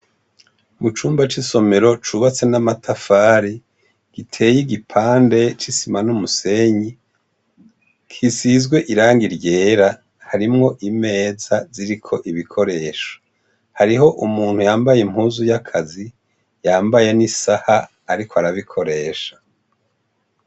Mu cumba c'isomero cubatse n'amatafari giteye igipande c'isima n'umusenyi kisizwe iranga iryera harimwo imeza ziriko ibikoresha hariho umuntu yambaye impuzu y'akazi yambaye n'isaha, ariko arabikoresha.